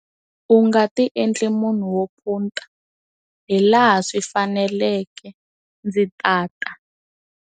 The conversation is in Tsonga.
U nga ti endli munhu wo phunta, hilaha swi faneleke ndzi ta ta!